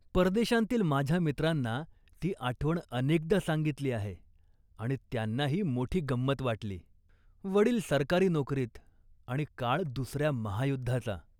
परदेशांतील माझ्या मित्रांना ती आठवण अनेकदा सांगितली आहे आणि त्यांनाही मोठी गंमत वाटली. वडील सरकारी नोकरीत आणि काळ दुसऱ्या महायुद्धाचा